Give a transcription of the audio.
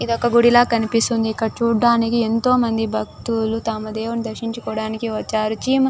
ఒక గుడి లాగా కనిపిస్తుంది ఇక్కడ చూడడానికి ఎంతో మంది భక్తులు తాము దేవుడిని దర్శించుకోవడానికి వచ్చారు --